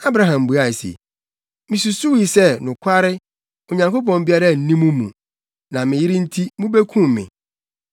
Abraham buae se, “Misusuwii sɛ nokware, Onyankopɔn biara nni mo mu, na me yere nti, mubekum me.